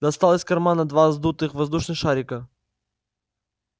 достал из кармана два сдутых воздушных шарика